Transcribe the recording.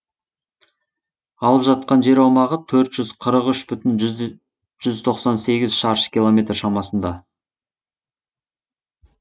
алып жатқан жер аумағы төрт жүз қырық үш бүтін жүз тоқсан сегіз шаршы километр шамасында